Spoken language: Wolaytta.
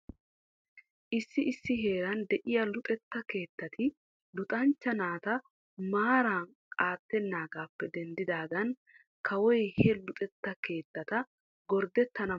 Issi issi heeran de'iya luxetta keettati luxanchcha naata maara aatenaagaappe denddidaagan kawoy he luxetta keettata gorddettana mala giidi awaajuwaa kessis.